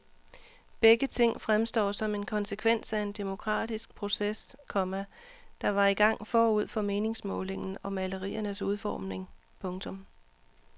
Begge ting fremstår som en konsekvens af en demokratisk proces, komma der var i gang forud for meningsmålingen og maleriernes udformning. punktum